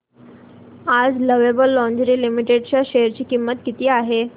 आज lovable lingerie limited च्या share ची किंमत किती आहे